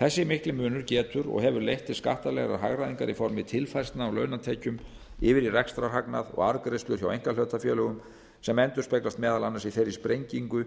þessi mikli munur getur og hefur leitt til skattalegrar hagræðingar í formi tilfærslna á launatekjum yfir í rekstrarhagnað og arðgreiðslur hjá einkahlutafélögum sem endurspeglast meðal annars í þeirri sprengingu